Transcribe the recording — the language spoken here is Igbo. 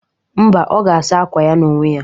Mba, ọ ga-asa akwa ya n'onwe ya.